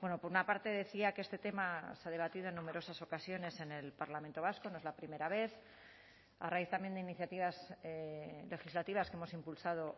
por una parte decía que este tema se ha debatido en numerosas ocasiones en el parlamento vasco no es la primera vez a raíz también de iniciativas legislativas que hemos impulsado